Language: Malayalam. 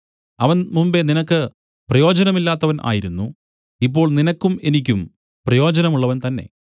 അവൻ മുമ്പെ നിനക്ക് പ്രയോജനമില്ലാത്തവൻ ആയിരുന്നു ഇപ്പോൾ നിനക്കും എനിക്കും പ്രയോജനമുള്ളവൻ തന്നെ